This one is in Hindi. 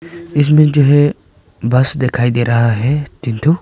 इसमें जो है बस दिखाई दे रहा है तीन ठो।